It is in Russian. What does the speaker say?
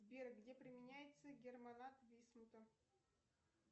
сбер где применяется германат висмута